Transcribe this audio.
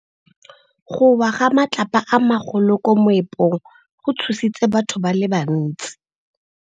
Go wa ga matlapa a magolo ko moepong go tshositse batho ba le bantsi.